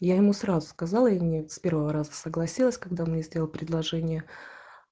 я ему сразу сказала и не с первого раза согласилась когда он мне сделал предложение